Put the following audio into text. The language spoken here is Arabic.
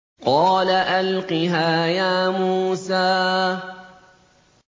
قَالَ أَلْقِهَا يَا مُوسَىٰ